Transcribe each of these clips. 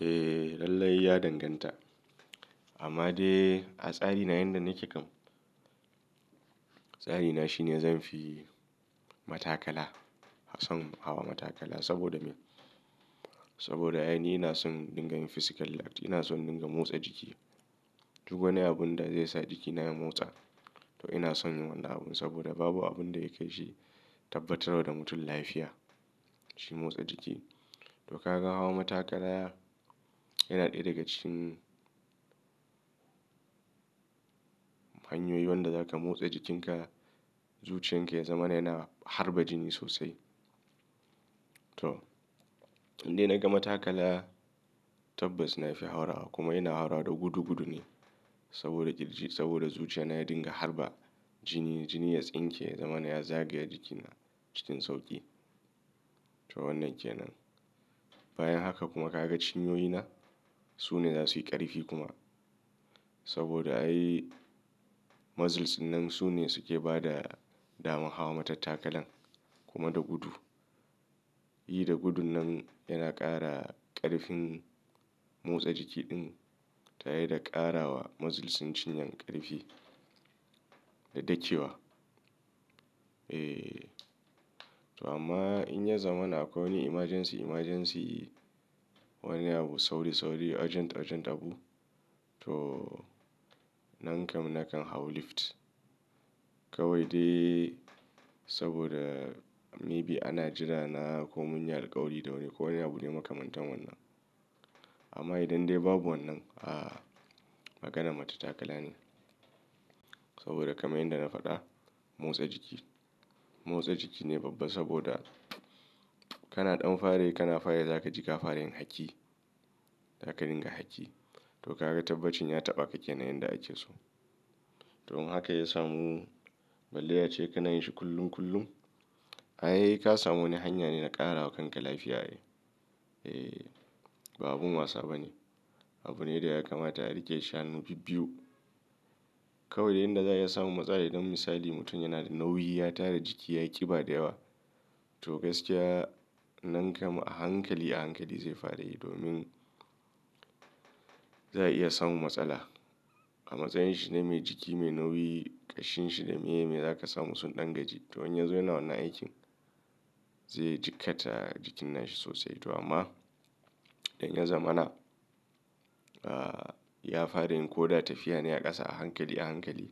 Eh, lallai ya danganta. Amma dai, a tsari na yanda nake kan. Tsari na shine zanfi matakala, son hawa matakala saboda me? Saboda ai ni ina son dingayin physical act. Ina son in dinga motsa jiki. Duk wani abun da zai sa jikina ya motsa to ina son wannan abun saboda babu abun da ya kai shi tabbatarwa da mutum lafiya shi motsa jiki. To kaga hawa matakala yana ɗaya daga cikin hanyoyi wanda zaka motsa jikinka zuciyan ke zama yana harba jini sosai. To in dai naga matakala tabbaci na fi haurawa kuma ina haurawa da gudu gudu ne saboda kirji, saboda zuciya na ya dinga harba jini, jini ya tsinke zaman ya zagaya jikina cikin sauƙi. To wannan ke nan. Bayan haka kuma kaga cinyoyi na? Su ne za su yi ƙarfi kuma. Saboda ai muscles ɗinnan su ne suke ba da daman hawa matattakalan kuma da gudu. Yi da gudun nan yana ƙara ƙarfin motsa jiki ɗin ta yi da ƙara wa muscles cin cinyan ƙarfi da dakkewa. Eh, to amma in ya zama na kawai wani emergency, emergency wani abu sauri, sauri urgent, urgent abu to nan kam nakan hau lift. Kawai dai saboda maybe ana jira na ko mun yi alkawari da wani ko wani abu ne makamantan wannan. Amma idan dai babu wannan, ah magana matattakala ne. Saboda kamar yanda na faɗa motsa jiki. Motsa jiki ne babba saboda kana ɗan fara yi kana fara yi zaka ji ka fara yin haki. Zaka dinga haki. To kaga tabbacin ya taɓa ka ke nan yanda ake so. Domin haka ya samu, balle ya ce kana yin shi kullum kullum. Ai ka samu wani hanya ne na ƙarawa kanka lafiya. Eh, ba abin wasa ba ne. Abu ne da ya kamata a riƙe shi hannu bibbiyu. Kawai dai inda za ya samu matsala idan misali mutum yana da nauyi ya tara jiki ya ƙiba da yawa. To gaskiya nan kam a hankali, a hankali zai fara yi domin za a iya samun matsala. A matsayin shi na mai jiki mai nauyi, ƙashin shi da miye me zaka samu sun ɗan gaji. To inya zo ya na wannan aikin zai jikkata jikin nashi sosai. To amma idan ya zamana, ah ya fara in ko da tafiya ne a ƙasa a hankali a hankali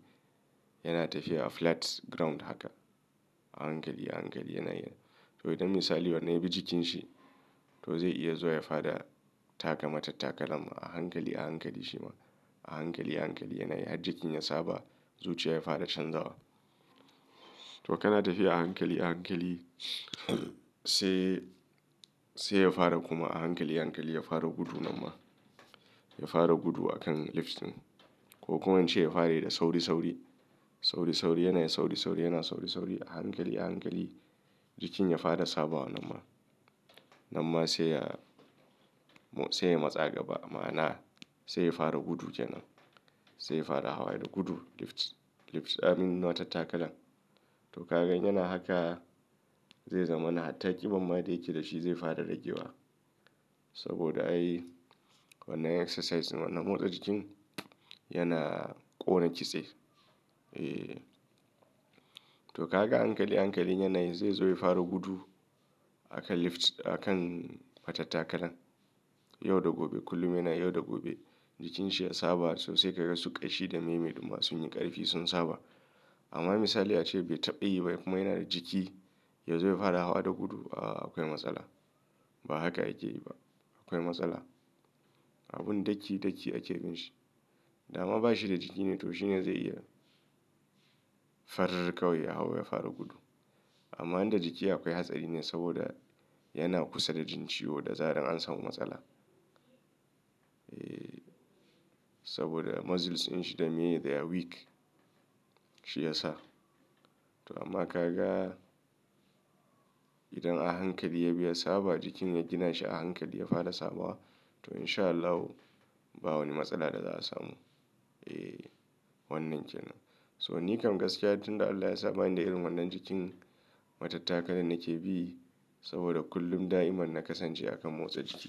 yana tafiya a flat ground haka. A hankali a hankali yana yi. To idan misali wani ya bi jikin shi to zai iya zuwa ya fara taka matattakala a hankali a hankali shi ma. A hankali a hankali yana yi har jikin ya saba zuciya ya fara canzawa. To kana tafiya a hankali a hankali sai, sai ya fara kuma a hankali a hankali ya fara gudu nan ma. Ya fara gudu akan lifting. Ko kuma in ce ya fara yi da sauri, sauri. Sauri, sauri yana sauri, sauri yana sauri, sauri a hankali a hankali jikin ya fara sabawa nan ma nan ma sai ya, sai ya matsa gaba ma'ana sai ya fara gudu ke nan. Sai ya fara hawa da gudu lift, lift ah matattakalan. To kaga in yana haka zai zama na hatta ƙiban ma da yake da shi zai fara rage wa. Saboda ai wannan exercise wannan motsa jikin yana ƙona kitse. Eh. To kaga a hankali a hankali yanayin zai zo ya fara gudu akan lift akan matattakalan. Yau da gobe kullum yana yi yau da gobe jikin shi ya saba sosai kaga su ƙashi da meme ɗumma sun yi ƙarfi sun saba. Amma misali ya ce bai taɓa yi ba kuma yana da jiki ya zo ya hwara hawa da gudu. Ah akwai matsala. Ba haka yake yi ba. Akwai matsala. Abun daki daki ake bin shi. Da ma ba shi da jiki ne to shi ne zai iya farr kawai ya hau ya fara gudu. Amma inda jiki akwai hatsari ne saboda yana kusa da jin ciwo da zaran an samu matsala. Eh, saboda muscles ɗin shi da miye they are weak shi ya sa. To amma ka ga idan a hankali ya bi ya saba jikin ya gina shi a hankali ya fara saba wa to in sha Allahu ba wani matsala da za a samu. Eh, wannan ke nan. So ni kam gaskiya tun da Allah ya saba ni da irin wannan jikin matattakalan nake bi saboda kullum da'imar na kasance a kan motsa jiki.